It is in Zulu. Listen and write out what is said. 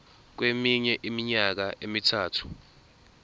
kweminye iminyaka emithathu